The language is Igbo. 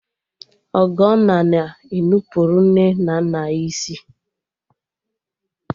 Ọgọnna na e nupụrụ nne na nna ya isi